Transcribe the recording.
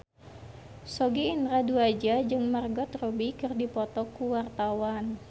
Sogi Indra Duaja jeung Margot Robbie keur dipoto ku wartawan